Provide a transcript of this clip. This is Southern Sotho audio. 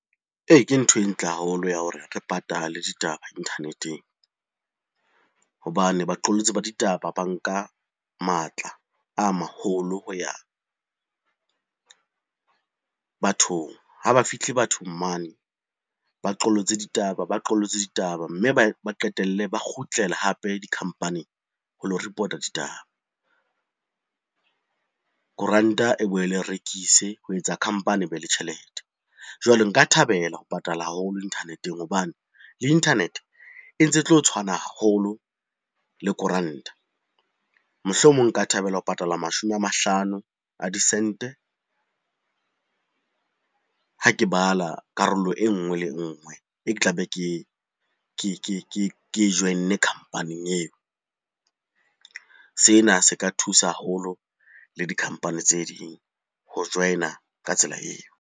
Ee, ke ntho e ntle haholo ya hore re patale ditaba internet-eng hobane baqolotsi ba ditaba ba nka matla a maholo ho ya bathong. Ha ba fihle bathong mane baqolotse ditaba, baqolotse ditaba mme ba qetelle ba kgutlela hape di-company-ing ho lo report-a ditaba. Koranta e boele e rekise ho etsa company e be le tjhelete. Jwale nka thabela ho patala haholo internet-eng hobane le internet-e e ntse e tlo tshwana haholo le koranta. Mohlomong nka thabela ho patala mashome a mahlano a disente ha ke bala karolo enngwe le enngwe e ke tlabe ke e join-ne company-ing eo. Sena se ka thusa haholo le di-company tse ding ho join-a ka tsela eo.